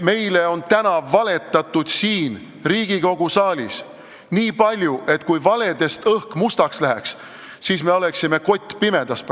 Meile on täna siin Riigikogu saalis nii palju valetatud, et kui õhk valedest mustaks läheks, siis me oleksime praegu kottpimedas.